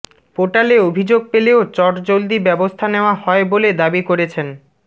পোর্টালে অভিযোগ পেলেও চটজলদি ব্যবস্থা নেওয়া হয় বলে দাবি করেছেন